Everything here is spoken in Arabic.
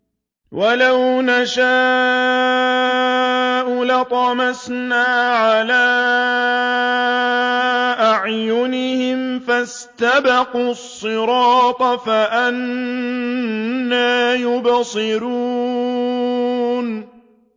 وَلَوْ نَشَاءُ لَطَمَسْنَا عَلَىٰ أَعْيُنِهِمْ فَاسْتَبَقُوا الصِّرَاطَ فَأَنَّىٰ يُبْصِرُونَ